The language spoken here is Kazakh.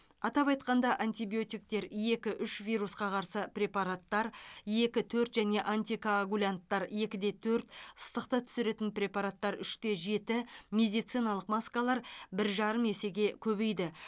атап айтқанда антибиотиктер екі үш вирусқа қарсы препараттар екі төрт және антикоагулянттар екі де төрт ыстықты түсіретін препараттар үш те жеті медициналық маскалар бір жарым есеге көбейді